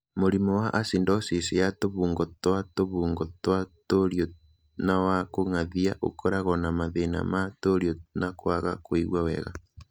Mũrimũ wa acidosis ya tũbungo twa tũbungo twa tũriũ na wa kũng'athia ũkoragwo na mathĩna ma tũriũ na kwaga kũigua wega.